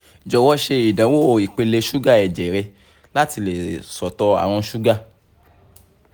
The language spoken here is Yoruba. jowo ṣe idanwo ipele suga ẹjẹ rẹ lati le sọtọ arun suga